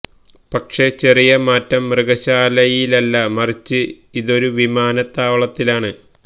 പക്ഷെ ചെറിയ മാറ്റം മൃഗശാലയിലല്ല മറിച്ച് ഇതൊരു വിമാന താവളത്തിലാണ്